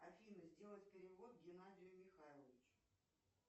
афина сделать перевод геннадию михайловичу